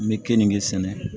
N bɛ keninke sɛnɛ